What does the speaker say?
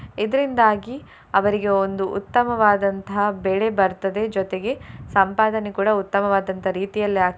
ಇದ್ರಿಂದಾಗಿ ಅವರಿಗೆ ಒಂದು ಉತ್ತಮವಾದಂತಹ ಬೆಳೆ ಬರ್ತದೆ ಜೊತೆಗೆ ಸಂಪಾದನೆ ಕೂಡ ಉತ್ತಮವಾದಂತಹ ರೀತಿಯಲ್ಲಿ ಆಗ್ತದೆ.